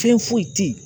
Fɛn foyi tɛ yen